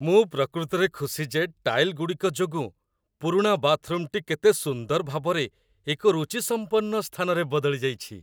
ମୁଁ ପ୍ରକୃତରେ ଖୁସି ଯେ ଟାଇଲ୍ ଗୁଡ଼ିକ ଯୋଗୁଁ ପୁରୁଣା ବାଥରୁମଟି କେତେ ସୁନ୍ଦର ଭାବରେ ଏକ ରୁଚିସମ୍ପନ୍ନ ସ୍ଥାନରେ ବଦଳି ଯାଇଛି